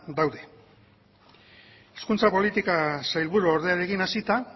daude hizkuntza politika sailburuordearekin hasita